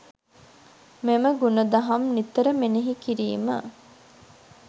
මෙම ගුණ දහම් නිතර මෙනෙහි කිරීම